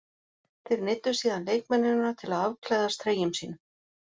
Þeir neyddu síðan leikmennina til að afklæðast treyjum sínum.